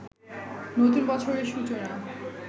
নতুন বছরের সূচনা